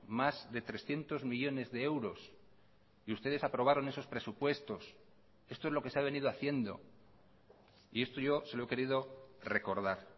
más de trescientos millónes de euros y ustedes aprobaron esos presupuestos esto es lo que se ha venido haciendo y esto yo se lo he querido recordar